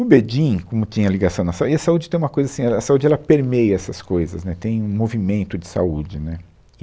O Bedin, como tinha ligação na saúde, e a saúde tem uma coisa assim, a, a saúde ela permeia essas coisas, né, tem um movimento de saúde, né